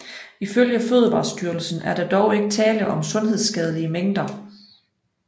Ifølge Fødevarestyrelsen var der dog ikke tale om sundhedsskadelige mængder